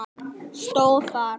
stóð þar.